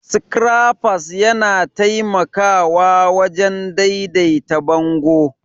Scrappers yana taimakawa wajen daidaita bango